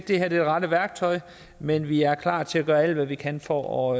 det her er det rette værktøj men vi er klar til at gøre alt hvad vi kan for